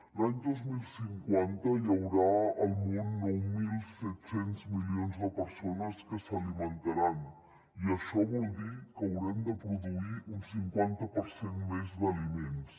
l’any dos mil cinquanta hi haurà al món nou mil set cents milions de persones que s’alimentaran i això vol dir que haurem de produir un cinquanta per cent més d’aliments